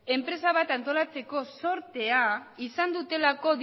enpresa bat sortzeko zortea izan dutelako